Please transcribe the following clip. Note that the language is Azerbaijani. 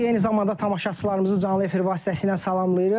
Sizi eyni zamanda tamaşaçılarımızı canlı efir vasitəsilə salamlayırıq.